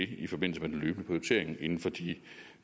det i forbindelse med den løbende prioritering inden for de